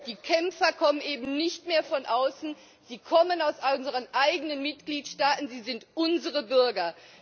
Die Kämpfer kommen eben nicht mehr von außen, sie kommen aus unseren eigenen Mitgliedstaaten, sie sind unsere Bürger.